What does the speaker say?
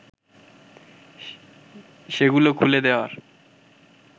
সেগুলো খুলে দেওয়ার